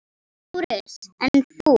LÁRUS: En þú?